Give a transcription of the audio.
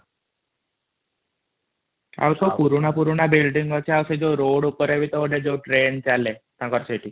ଆଉ ସବୁ ପୁରୁଣା ବିଲ୍ଡିଂ ଅଛି ଆଉ ଯୋଉ ରୋଡ଼ ଉପରେ ଯୋଉ ଟ୍ରେନ ଚାଲେ ସେଇଟା ବି |